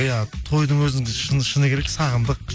иә тойдың өзін шыны керек сағындық